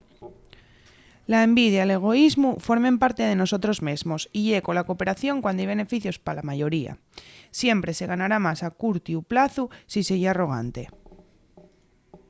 la envidia y l'egoísmu formen parte de nosotros mesmos y ye cola cooperación cuando hai beneficios pa la mayoría siempre se ganará más a curtiu plazu si se ye arrogante